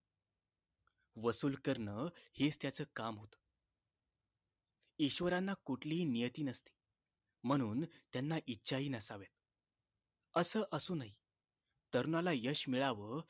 वसूल करण हेच त्याच काम होत ईश्वरांना कुठलीही नियती नसते म्हणून त्यांना इच्छाही नसाव्यात असं असूनही तरुणाला यश मिळावं